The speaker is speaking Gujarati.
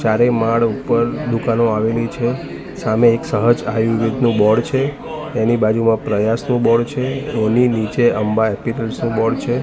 ચારે માડ ઉપર દુકાનો આવેલી છે સામે એક સહજ આયુર્વેદનું બોર્ડ છે એની બાજુમાં પ્રયાસનું બોર્ડ છે એની નીચે અંબા પીપલ્સ નું બોર્ડ છે.